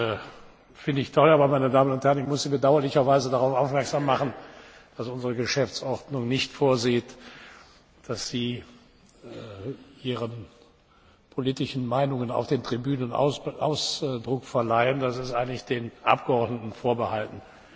Das finde ich toll. Aber, meine Damen und Herren, ich muss Sie bedauerlicherweise darauf aufmerksam machen, dass unsere Geschäftsordnung nicht vorsieht, dass Sie Ihren politischen Meinungen auf den Tribünen Ausdruck verleihen. Das ist eigentlich den Abgeordneten vorbehalten.